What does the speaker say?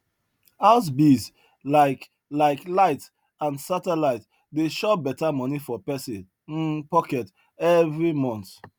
house bills like like light and satelite dey chop better money for person um pocket every month